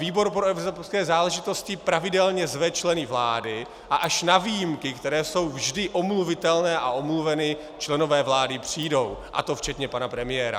Výbor pro evropské záležitosti pravidelně zve členy vlády a až na výjimky, které jsou vždy omluvitelné a omluveny, členové vlády přijdou, a to včetně pana premiéra.